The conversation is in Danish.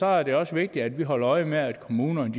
er det også vigtigt vi holder øje med at kommunerne